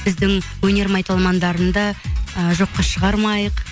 біздің өнер майталмандарын да ы жоққа шығармайық